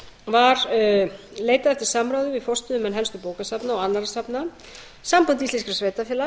var leitað eftir samráði við forstöðumenn helstu bókasafna og annarra safna samband íslenskra sveitarfélaga